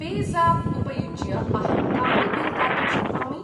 Pay ज़ाप् उपयुज्य अहं कानि बिल् दातुं शक्नोमि?